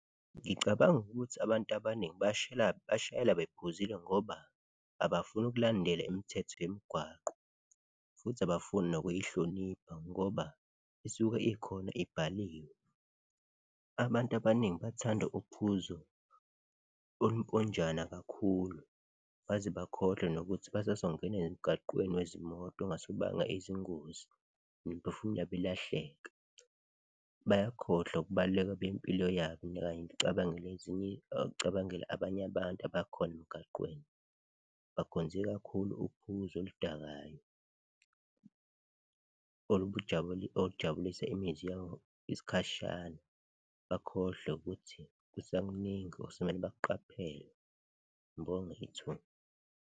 Ngicabanga ukuthi abantu abaningi bashayela bephuzile ngoba abafuni ukulandela imithetho yemigwaqo futhi abafuni nokuyihlonipha ngoba isuke ikhona ibhaliwe. Abantu abaningi bathanda uphuzo oluponjwana kakhulu, baze bakhohlwe nokuthi basazongena emgaqweni wezimoto okungase kubange izingozi nemiphefumulo yabo ilahleke. Bayakhohlwa ukubaluleka bempilo yabo kanye nokucabangela abanye abantu abakhona emgaqweni, bakhonze kakhulu uphuzo oludakayo olujabulisa imizwa yabo isikhashana, bakhohlwe ukuthi kusakuningi okusamele bakuqaphele. Ngibonge ithuba.